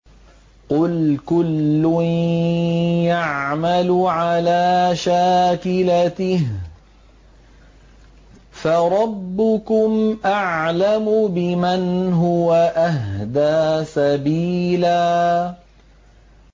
قُلْ كُلٌّ يَعْمَلُ عَلَىٰ شَاكِلَتِهِ فَرَبُّكُمْ أَعْلَمُ بِمَنْ هُوَ أَهْدَىٰ سَبِيلًا